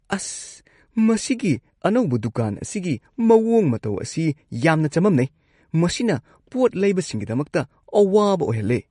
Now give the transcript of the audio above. ꯑꯁ, ꯃꯁꯤꯒꯤ ꯑꯅꯧꯕ ꯗꯨꯀꯥꯟ ꯑꯁꯤꯒꯤ ꯃꯑꯣꯡ ꯃꯇꯧ ꯑꯁꯤ ꯌꯥꯝꯅ ꯆꯃꯝꯅꯩ ꯫ ꯃꯁꯤꯅ ꯄꯣꯠ ꯂꯩꯕꯁꯤꯡꯒꯤꯗꯃꯛꯇ ꯑꯋꯥꯕ ꯑꯣꯏꯍꯜꯂꯦ꯫